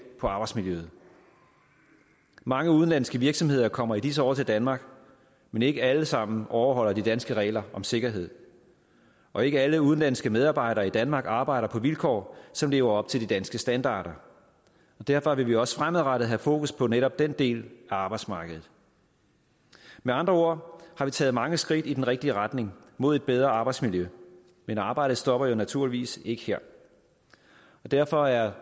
på arbejdsmiljøet mange udenlandske virksomheder kommer i disse år til danmark men ikke alle sammen overholder de danske regler om sikkerhed og ikke alle udenlandske medarbejdere i danmark arbejder på vilkår som lever op til de danske standarder derfor vil vi også fremadrettet have fokus på netop den del af arbejdsmarkedet med andre ord har vi taget mange skridt i den rigtige retning mod et bedre arbejdsmiljø men arbejdet stopper jo naturligvis ikke her derfor er